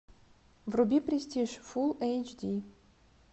вруби престиж фул эйч ди